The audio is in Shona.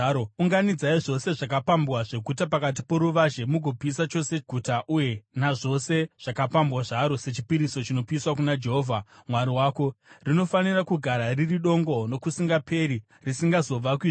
Unganidzai zvose zvakapambwa zveguta pakati poruvazhe mugopisa chose guta uye nazvose zvakapambwa zvaro sechipiriso chinopiswa kuna Jehovha Mwari wako. Rinofanira kugara riri dongo nokusingaperi, risingazovakwizve.